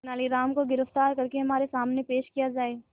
तेनालीराम को गिरफ्तार करके हमारे सामने पेश किया जाए